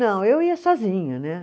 Não, eu ia sozinha, né?